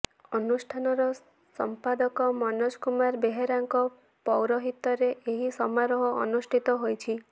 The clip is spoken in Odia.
ଅନୁଷ୍ଠାନର ସମ୍ପାଦକ ମନୋଜ କୁମାର ବେହେରାଙ୍କ ପୌରହିତ୍ୟରେ ଏହି ସମାରୋହ ଅନୁଷ୍ଠିତ ହୋଇଛି